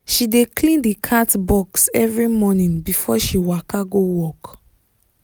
she dey clean the cat box every morning before she waka go work